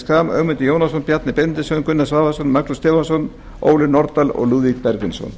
schram ögmundur jónasson bjarni benediktsson gunnar svavarsson með fyrirvara magnús stefánsson með fyrirvara ólöf nordal og lúðvík bergvinsson